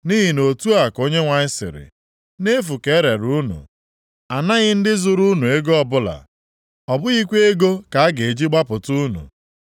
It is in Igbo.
Nʼihi na otu a ka Onyenwe anyị sịrị, “Nʼefu ka erere unu, anaghị ndị zụrụ unu ego ọbụla, ọ bụghịkwa ego ka a ga-eji gbapụta unu.”